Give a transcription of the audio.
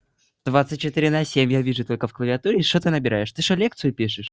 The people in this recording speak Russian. двадцать четыре на семь я вижу только в клавиатуре и что ты набираешь ты что лекцию пишешь